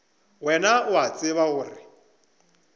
wena o a tseba gore